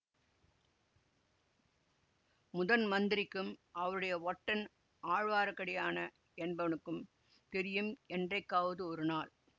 முதன்மந்திரிக்கும் அவருடைய ஒற்றன் ஆழ்வார்க்கடியான என்பவனுக்கும் தெரியும் என்றைக்காவது ஒருநாள்